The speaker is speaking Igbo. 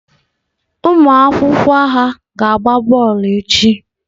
Ụmụ akwụkwọ ha ga-agba bọọlụ echi?